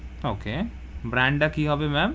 Okay brand তা কি হবে ma'am?